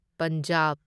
Punjab